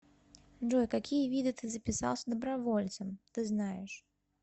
джой какие виды ты записался добровольцем ты знаешь